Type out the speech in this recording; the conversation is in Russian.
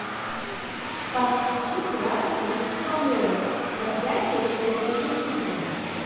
подключи пираты карибского моря проклятие черной жемчужины